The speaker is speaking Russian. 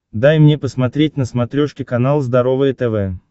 дай мне посмотреть на смотрешке канал здоровое тв